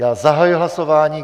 Já zahajuji hlasování.